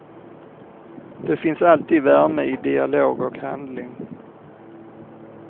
Det finns alltid värme i dialog och handling.